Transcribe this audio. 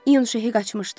Yün Şeh qaçmışdı.